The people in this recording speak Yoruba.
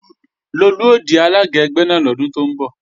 Lolú ó di alága ẹgbẹ́ náà lọ́dún tó ń bọ̀